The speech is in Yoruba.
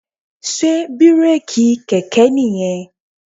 Sé bírèkì kẹ̀kẹ́ nìyẹn?